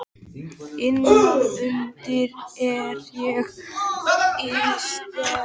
Innan undir er ég í sparifötunum.